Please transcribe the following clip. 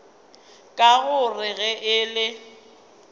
ka gore ge e le